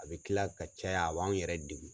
A bɛ kila ka caya a b'anw yɛrɛ degun